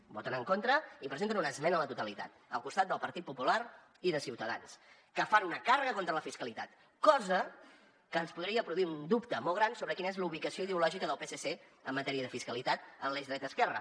hi voten en contra i presenten una esmena a la totalitat al costat del partit popular i de ciutadans que fan una càrrega contra la fiscalitat cosa que ens podria produir un dubte molt gran sobre quina és la ubicació ideològica del psc en matèria de fiscalitat en l’eix dreta esquerra